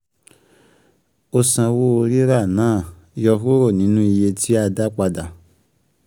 O sanwó rírà náà, yọ kúrò nínú iye tí a dá padà.